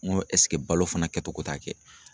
N ko ɛseke balo fana kɛ togo t'a kɛ?